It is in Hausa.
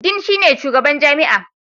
Dean shine shugaban jami'a.